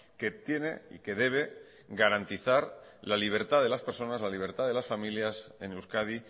que tiene y que debe garantizar la libertad de las personas la libertad de las familias en euskadi